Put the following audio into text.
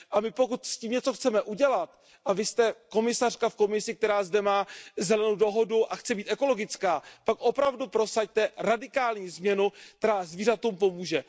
My, pokud s tím chceme něco udělat, a vy jste komisařka v Komisi, která zde má zelenou dohodu a chce být ekologická, tak opravdu prosaďte radikální změnu, která zvířatům pomůže.